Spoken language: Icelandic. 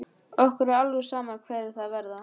Okkur er alveg sama hverjir það verða.